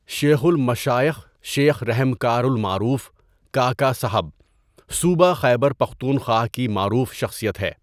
شیخ المشائخ شیخ رحمکار المعروف کاکا صاحب صوبہ خیبر پختونخوا کی معروف شخصیت ہے۔